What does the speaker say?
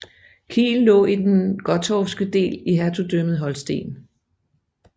Kiel lå i den gottorpske del i Hertugdømmet Holsten